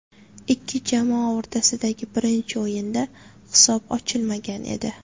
Ikki jamoa o‘rtasidagi birinchi o‘yinda hisob ochilmagan edi.